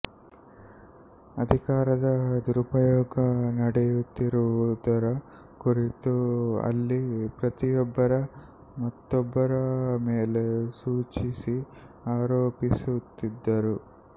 ಅಧಿಕಾರದ ದುರುಪಯೋಗ ನಡೆಯುತ್ತಿರುವುದರ ಕುರಿತು ಅಲ್ಲಿ ಪ್ರತಿಯೊಬ್ಬರೂ ಮತ್ತೊಬ್ಬರ ಮೇಲೆ ಸೂಚಿಸಿ ಆರೋಪಿಸುತ್ತಿದ್ದರು